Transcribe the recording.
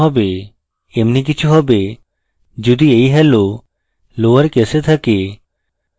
এমনি কিছু হবে যদি এই hello লোয়ার case থাকে